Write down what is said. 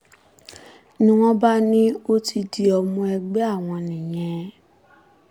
ni wọ́n bá ní ó ti di ọmọ ẹgbẹ́ àwọn nìyẹn